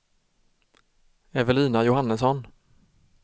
Evelina Johannesson